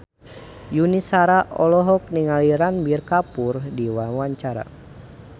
Yuni Shara olohok ningali Ranbir Kapoor keur diwawancara